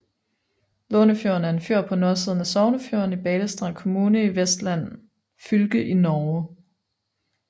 Lånefjorden er en fjord på nordsiden af Sognefjorden i Balestrand kommune i Vestland fylke i Norge